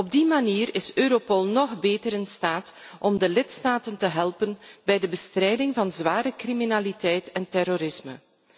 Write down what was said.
Op die manier is Europol nog beter in staat de lidstaten te helpen bij de bestrijding van zware criminaliteit en terrorisme.